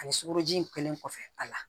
Ani sukoroji in kɛlen kɔfɛ a la